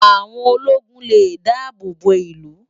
Áwón ólógún lé dàábó bó ilú